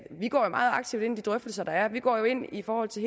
vi går jo meget aktivt ind i de drøftelser der er vi går ind i forhold til